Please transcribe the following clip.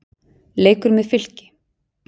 Leikur með Fylki.